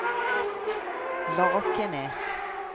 Lakene